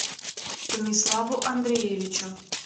станиславу андреевичу